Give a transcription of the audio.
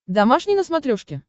домашний на смотрешке